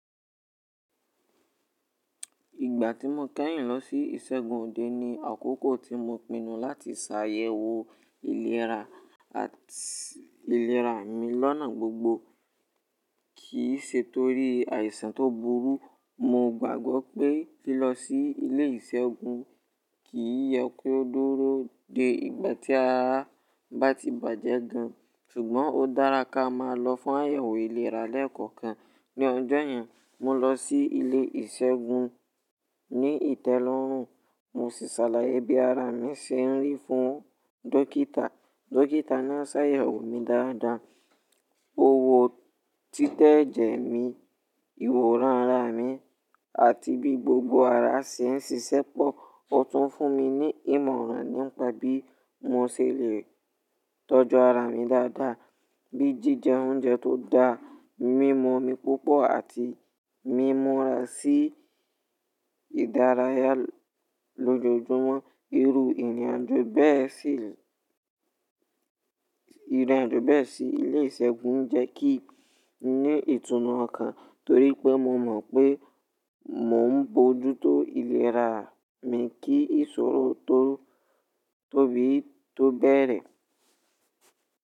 Ìgbà tí mo kẹ́yìn lọ sí ìṣègùn òde ni àkókò tí mo pinu láti ṣàyẹ̀wò ìlera àti ìlera mi lọ́nà gbogbo. Kì í ṣe torí àìsàn tó burú. Mo gbàgbọ́ pé lílọ sí ilé ìṣègùn kì í yẹ kó dúró dé ìgbà tí ará bá ti bàjẹ́ gan, ṣùgbọ́n ó dára ká máa lọ fún àyẹ̀wò ìlera lẹ́ ko kan. Ni ọjọ́ yẹn, mo lọ sí ilé ìṣègùn ní ìtẹ́lọ́rùn, mo sì ṣàlàyé bí ara mi ṣe ń rí fún dókítà. Dókítà náà ṣàyẹ̀wò mi dáadáa, ó wo títẹ̀jẹ̀ mi, ìwọ̀ranra mi, àti bí gbogbo ara ṣe ń ṣiṣẹ́pọ̀. Ó tún fún mi ní ìmọ̀ràn nípa bí mo ṣe lè tọ́jú ara mi dáadáa, bíi jíjẹ oúnjẹ tó da, mímú omi púpọ̀ àti mímura sí ìdárayá lójoojúmọ́. Irú ìrìnàjò bẹ́ẹ̀ sí ilé ìṣègùn jẹ́ kí n ní ìtùnú ọkàn torí pé mo mọ̀ pé mò ń bójú tó ìlera mi kí ìṣòro tó tó bí i tó bẹ̀rẹ̀.